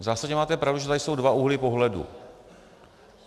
V zásadě máte pravdu, že tady jsou dva úhly pohledu.